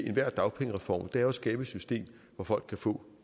enhver dagpengereform er at skabe et system hvor folk kan få